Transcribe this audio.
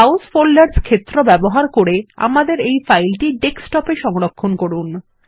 browse folders ক্ষেত্র ব্যবহার করে আমাদের এই ফাইলটি ডেস্কটপ এ সংরক্ষণ করুন